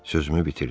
Sözümü bitirdim.